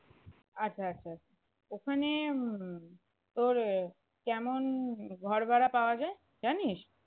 আচ্ছা আচ্ছা ওখানে উম তোর কেমন ঘর ভাড়া পাওয়া যায় জানিস?